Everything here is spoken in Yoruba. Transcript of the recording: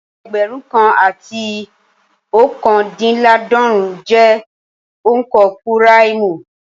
Ẹgbẹ̀rún kan àti ookandinlaadorun jẹ́ onka púráìmù